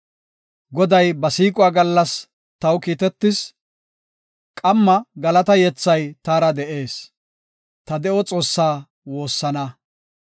Goday ba siiquwa gallas taw kiittees; qamma galata yethay taara de7ees; ta de7o Xoossaa woossana.